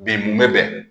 Bi mun bɛ bɛn